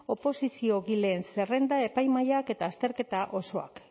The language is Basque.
oposiziogileen zerrenda epaimahaiak eta azterketa osoak